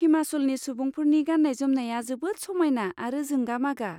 हिमाचलनि सुबुंफोरनि गाननाय जोमनाया जोबोद समायना आरो जोंगा मागा।